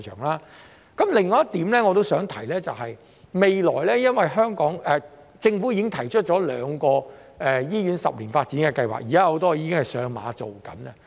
另外，我也想提及的是，政府已提出兩項十年醫院發展計劃，現時很多項目已上馬並進行中。